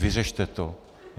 Vyřešte to.